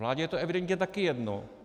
Vládě je to evidentně také jedno.